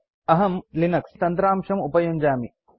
अहम् लिनक्स इति तन्त्रांशम् उपयुञ्जामि